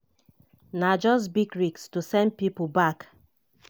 na just big risk to send pipo back."